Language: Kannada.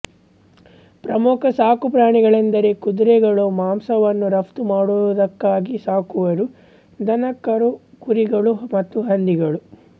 ಪ್ರಮುಖ ಸಾಕುಪ್ರಾಣಿಗಳೆಂದರೆ ಕುದುರೆಗಳು ಮಾಂಸವನ್ನು ರಫ್ತು ಮಾಡುವುದಕ್ಕಾಗಿ ಸಾಕುವರು ದನಕರುಗಳುಕುರಿಗಳು ಮತ್ತು ಹಂದಿಗಳು